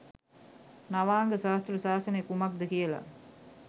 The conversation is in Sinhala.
නවාංග ශාස්තෘ ශාසනය කුමක්ද කියලා